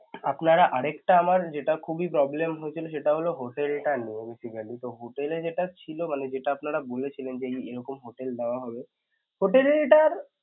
আপনারা আরেকটা আমার যেটা খুবই problem হয়েছিল সেটা হল hotel টা নিয়ে basically তো hotel এ যেটা ছিল যেটা আপনারা বলেছিলেন যে এরকম hotel দেয়া হবে hotel টার